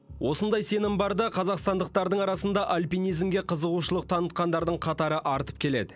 осындай сенім барда қазақстандықтардың арасында альпинизмге қызығушылық танытқандардың қатары артып келеді